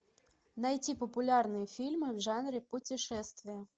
найти популярные фильмы в жанре путешествия